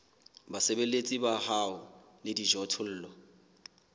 basebeletsi ba hao le dijothollo